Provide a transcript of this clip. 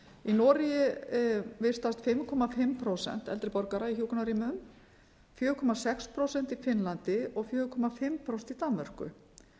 í noregi vistast fimm og hálft prósent eldri borgara í hjúkrunarrýmum fjóra komma sex prósent í finnlandi og fjögur og hálft prósent í danmörku